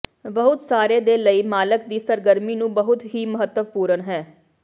ਬਹੁਤ ਸਾਰੇ ਦੇ ਲਈ ਮਾਲਕ ਦੀ ਸਰਗਰਮੀ ਨੂੰ ਬਹੁਤ ਹੀ ਮਹੱਤਵਪੂਰਨ ਹੈ